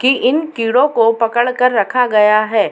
की इन कीड़ो को पकड़ कर रखा गया है।